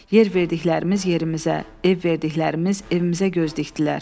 Yer verdiklərimiz yerimizə, ev verdiklərimiz evimizə göz dikdilər.